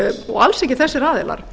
og alls ekki þessir aðilar